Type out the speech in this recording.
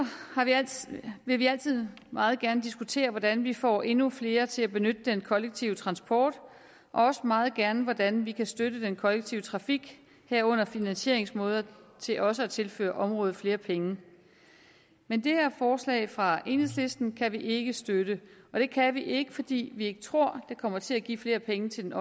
vil vi altid meget gerne diskutere hvordan vi får endnu flere til at benytte den kollektive transport og også meget gerne hvordan vi kan støtte den kollektive trafik herunder finansieringsmåder til også at tilføre området flere penge men det her forslag fra enhedslisten kan vi ikke støtte og det kan vi ikke fordi vi ikke tror det kommer til at give flere penge til den